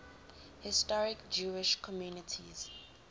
historic jewish communities